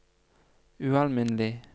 ualminnelig